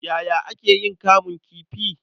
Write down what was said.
Yaya ake yin kamun kifii?